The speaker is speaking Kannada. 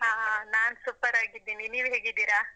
ಹಾ ಹಾ, ನಾನ್ super ಆಗಿದ್ದೀನಿ, ನೀವ್ ಹೇಗಿದ್ದೀರಾ?